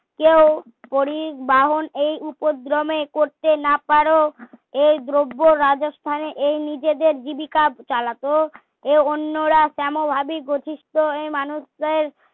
কেউ পড়ি বাহন এই উপদ্রমে করতে না পারো এই দ্রব্য রাজস্থানে এই নিজেদের জীবিকা চালাতো এ অন্যরা তেমন ভাবে গঠিত এই মানুষদের